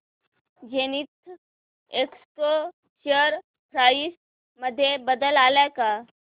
Zenith Expo share price मध्ये बदल आलाय का